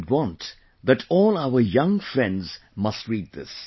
I would want that all our young friends must read this